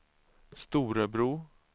Storebro